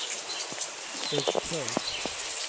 uppför